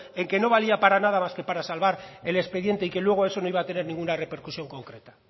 en que no valía para nada más que para salvar el expediente y que luego eso no iba a tener ninguna repercusión concreta